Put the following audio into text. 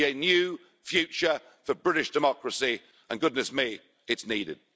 It will be a new future for British democracy and goodness me, it's needed.